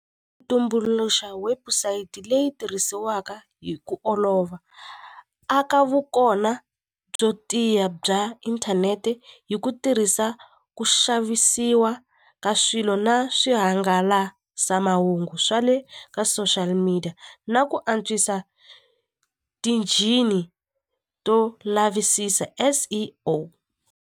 Tumbuluxa website leyi tirhisiwaka hi ku olova aka vukona byo tiya bya inthanete hi ku tirhisa ku xavisiwa ka swilo na swihangalasamahungu swa le ka social media na ku antswisa to lavisisa S_E_O.